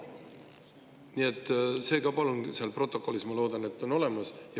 Nii et see ka seal protokollis, ma loodan, on olemas.